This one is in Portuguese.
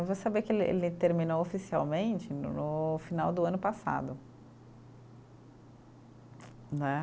Eu vou saber que ele ele terminou oficialmente no no final do ano passado, né.